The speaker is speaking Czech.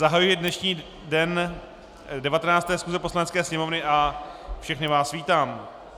Zahajuji dnešní den 19. schůze Poslanecké sněmovny a všechny vás vítám.